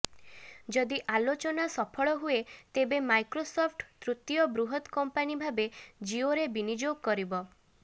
ଯଦି ଆଲୋଚନା ସଫଳ ହୁଏ ତେବେ ମାଇକ୍ରୋସଫ୍ଟ୍ ତୃତୀୟ ବୃହତ କମ୍ପାନୀ ଭାବେ ଜିଓରେ ବିନିଯୋଗ କରିବ